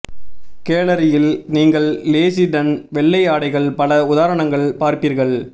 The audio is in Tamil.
கேலரியில் நீங்கள் லேஸுடன் வெள்ளை ஆடைகள் பல உதாரணங்கள் பார்ப்பீர்கள்